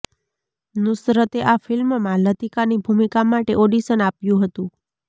નૂસરતે આ ફિલ્મમાં લતીકાની ભૂમિકા માટે ઓડિશન આપ્યું હતું